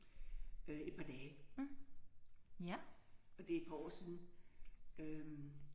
Øh et par dage. Og det er et par år siden øh